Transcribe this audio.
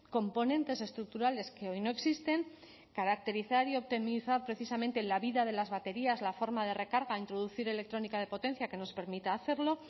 componentes estructurales que hoy no existen caracterizar y optimizar precisamente la vida de las baterías la forma de recarga a introducir electrónica de potencia que nos permita hacerlo